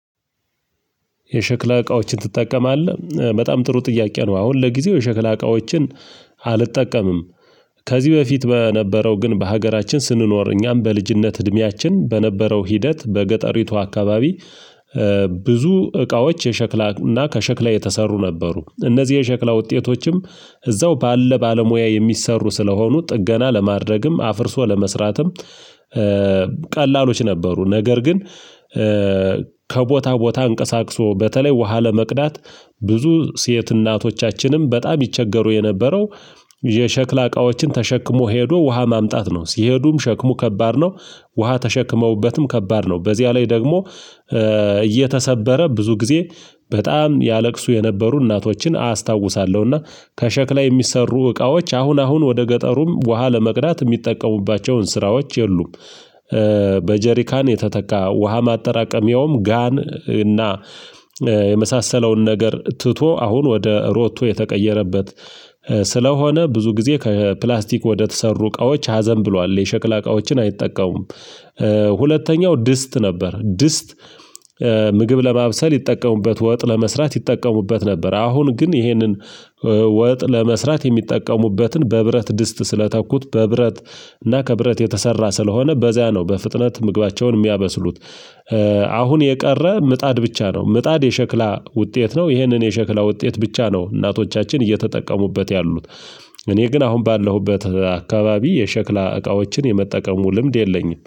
የሸክላ እቃዎችን ትጠቀማለህ በጣም ጥሩ ጥያቄ ነው? አሁን ለጊዜው የሸክላ እቃዎችን አልጠቀምም። ከዚህ በፊት በነበረው ግን በሀገራችን ስንኖር እኛም በልጅነት እድሜያችን በነበረው ሂደት በገጠሪቱ አካባቢ። ብዙ እቃዎች የሸክላ እና ከሸክላ የተሰሩ ነበሩ እነዚህ የሸክላ ውጤቶችም እዛው ባለ ባለሙያ የሚሰሩ ስለሆኑ ጥገና ለማድረግም አፍርሶ ለመስራትም። ቀላሉች ነበሩ ነገር ግን። ከቦታ ቦታ አንቀሳቅሶ በተለይ ውሃ ለመቅዳት ብዙ ሴት እናቶቻችንም በጣም ይቸገሩ የነበረው። የሸክላ እቃዎችን ተሸክሞ ሄዶ ውሃ ማምጣት ነው ሲሄዱም ሸክሙ ከባድ ነው። ውሃ ተሸክመውበትም ከባድ ነው በዚያ ላይ ደግሞ። እየተሰበረ ብዙ ጊዜ በጣም ያለቅሱ የነበሩ እናቶችን አስታውሳለሁና። ከሸክላ የሚሰሩ እቃዎች አሁን አሁን ወደ ገጠሩም ውሃ ለመቅዳት የሚጠቀሙባቸውን ስራዎች የሉም። በጀሪካን የተተካ ውሃ ማጠራቀሚያውም ጋን እና የመሳሰለውን ነገር ትቶ አሁን ወደ ሮቶ የተቀየረበት። ስለሆነ ብዙ ጊዜ ከፕላስቲክ ወደተሰሩ እቃዎች ሀዘን ብሏል የሸቅላ እቃዎችን አይጠቀሙም። ሁለተኛው ድስት ነበር ድስት። ምግብ ለማብሰል ይጠቀሙበት ወጥ ለመስራት ይጠቀሙበት ነበር። አሁን ግን ይሄንን ወጥ ለመስራት የሚጠቀሙበትን በብረት ድስት ስለተኩት በብረት እና ከብረት የተሰራ ስለሆነ በዚያ ነው በፍጥነት ምግባቸውን የሚያበስሉት። አሁን የቀረ ምጣድ ብቻ ነው ምጣድ የሸክላ ውጤት ነው። ይህንን የሸክላ ውጤት ብቻ ነው እናቶቻችን እየተጠቀሙበት ያሉት። እኔ ግን አሁን ባለሁበት አካባቢ የሸክላ እቃዎችን የመጠቀሙ ልምድ የለኝም